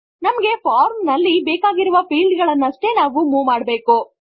ನಮಗೆ ಫಾರ್ಮ್ ನಲ್ಲಿ ಬೇಕಾಗಿರುವ ಫೀಲ್ಡ್ ಗಳನ್ನಷ್ಟೇ ನಾವು ಮೂವ್ ಮಾಡಬೇಕು